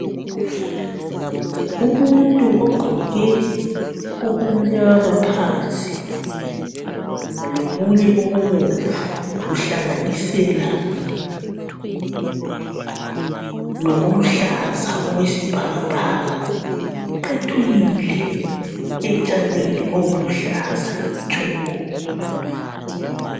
Umuntu ogqoke okumnyama phansi lokunye okubomvu kuhlanganisela lokuluhlaza okwesibhakabhaka, uqethukile etshanini oluluhlaza tshoko.